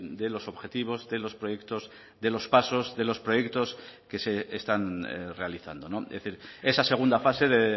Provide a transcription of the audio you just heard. de los objetivos de los proyectos de los pasos de los proyectos que se están realizando es decir esa segunda fase de